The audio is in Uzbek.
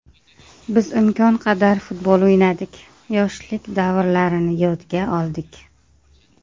Biz imkon qadar futbol o‘ynadik, yoshlik davrlarini yodga oldik.